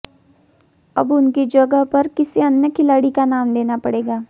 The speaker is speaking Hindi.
अब उनकी जगह पर किसी अन्य खिलाड़ी का नाम देना पड़ेगा